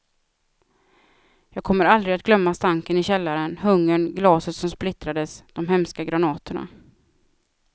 Jag kommer aldrig att glömma stanken i källaren, hungern, glaset som splittrades, de hemska granaterna.